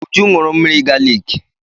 Uju ṅụrụ mmiri galiki.